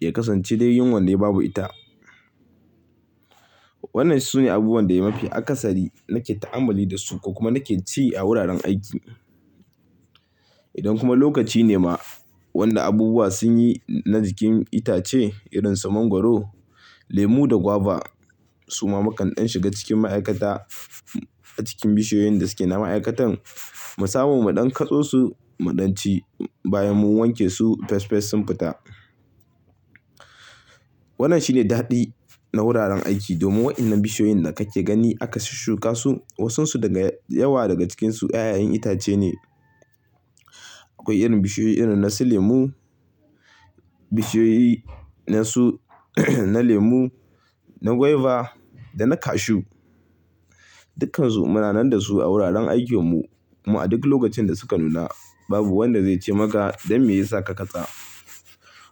ya kasance dai yin wannai babu ita. Wannan sune abubuwan da mafi akasari, nake ta'amalli da su, ko kuma nake ci a wuraren aiki. Idan kuma lokaci ne ma wanda abubuwa sun yi na jikin itace, irin su mangwaro, lemu da guava, suma mu kan ɗan shiga cikin ma'aikata, a cikin bishiyoyin da suke na ma'aikatan, mu samu mu ɗan kaɗo su, mu ɗan ci bayan mun wanke su fes fes sun fita. Wannan shi ne daɗi na wuraren aiki, domin waɗannan bishiyoyin da kake gani aka shuka su. Wasun su daga yawa daga cikinsu 'ya'yan itace ne. Akwai irin bishiyoyi irin na su lemu, bishiyoyi na su na lemu, na guava da na cashew. Dukkansu muna nan da su a wuraren aikin mu kuma a duk lokacin da suka nuna, babu wanda zai ce maka don me ya sa ka katse.